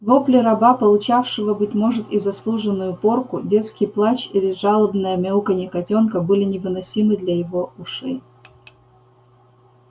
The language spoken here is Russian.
вопли раба получавшего быть может и заслуженную порку детский плач или жалобное мяуканье котёнка были невыносимы для его ушей